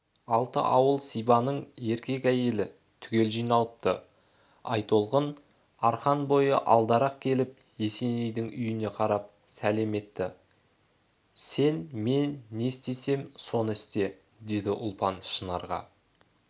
алты ауыл сибанның еркек-әйелі түгел жиналыпты айтолқын арқан бойы алдарақ келіп есенейдің үйіне қарап сәлем етті сең мен не істесем соны істе деді ұлпан шынарға